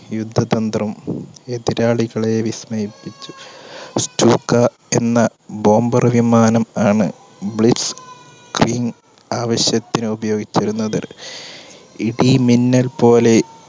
യുദ്ധതന്ത്രം എതിരാളികളെ വിസ്മയിപ്പിച്ചു. stuka എന്ന bomber വിമാനം ആണ് blitzkrieg ആവശ്യത്തിന് ഉപയോഗിച്ചിരുന്നത്. ഇടിമിന്നൽ പോലെ